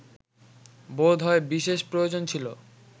বোধ হয় বিশেষ প্রয়োজন ছিল